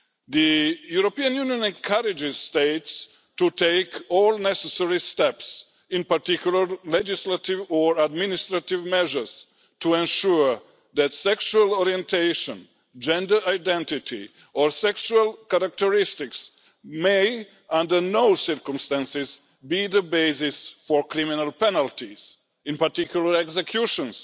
The European Union encourages states to take all necessary steps in particular, legislative or administrative measures, to ensure that sexual orientation, gender identity or sexual characteristics may not under any circumstances be the basis for criminal penalties in particular executions,